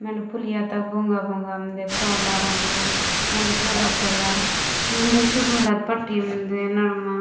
मेट पुलिया तक बोंगा बोंगा मंडे काला रंगों मेंड भूरा कलर मंडे सु डलर पट्टी मुंदे दरनमा।